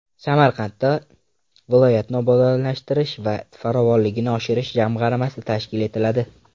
Samarqandda viloyatni obodonlashtirish va farovonligini oshirish jamg‘armasi tashkil etiladi.